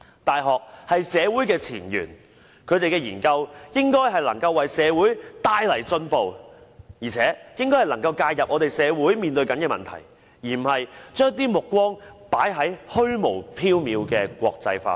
大學是社會的前緣，其研究應能為社會帶來進步，並能介入社會正在面對的問題，而不是將目光放在虛無縹緲的國際化上。